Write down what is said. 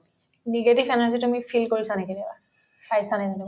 negative energy তুমি feel কৰিছা নেকি কেতিয়াবা কেতিয়াবা